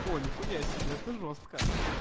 о нихуя себе это жёстко